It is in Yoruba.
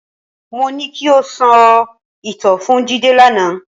Mo ní ki o sọ ìtàn fún Jídé lánàá.